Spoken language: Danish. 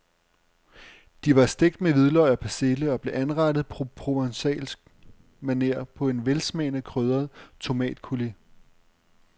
De var stegt med hvidløg og persille og blev anrettet på provencalsk maner på en velsmagende krydret tomatcoulis.